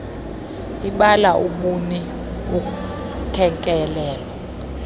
ibala ubuni ukekelelo